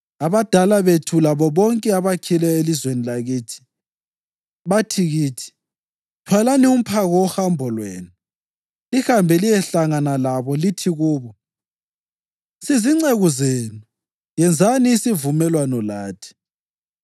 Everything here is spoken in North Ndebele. Abadala bethu labo bonke abakhileyo elizweni lakithi bathi kithi, ‘Thwalani umphako wohambo lwenu; lihambe liyehlangana labo lithi kubo, “Sizinceku zenu: yenzani isivumelwano lathi.” ’